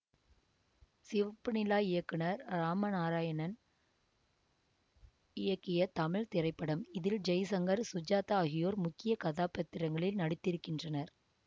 சிவப்பு நிலா இயக்குனர் இராமநாராயணன் இயக்கிய தமிழ் திரைப்படம் இதில் ஜெய்சங்கர் சுஜாதா ஆகியோர் முக்கிய கதாபாத்திரங்களில் நடித்திருக்கின்றனர்